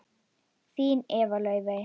Þín Eva Laufey.